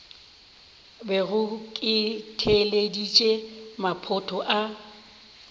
bego ke theeleditše maphoto a